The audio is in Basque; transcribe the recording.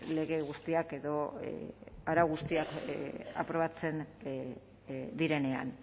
lege guztiak edo arau guztiak aprobatzen direnean